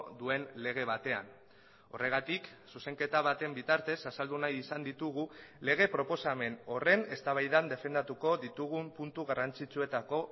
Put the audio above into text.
duen lege batean horregatik zuzenketa baten bitartez azaldu nahi izan ditugu lege proposamen horren eztabaidan defendatuko ditugun puntu garrantzitsuetako